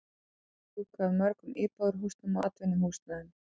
Þök fjúka af mörgum íbúðarhúsum og atvinnuhúsnæði.